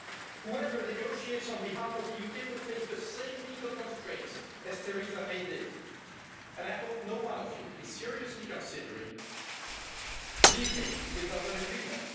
Whoever negotiates on behalf of the UK will face the same legal constraints as Theresa May did, and I hope no one of you is seriously considering leaving without an agreement.